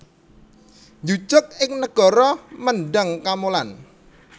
Njujug ing negara Mendhang Kamolan